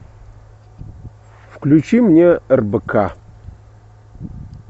включи мне рбк